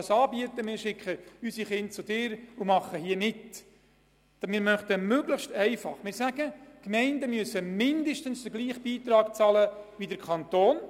Das Gesetz sieht vor, dass Gemeinden mit einem Ferienbetreuungsangebot mindestens den gleichen Beitrag leisten wie der Kanton.